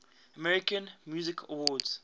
american music awards